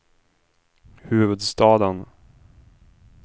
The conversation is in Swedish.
huvudstaden